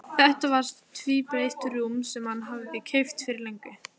Þetta var tvíbreitt rúm sem hann hafði keypt fyrir löngu.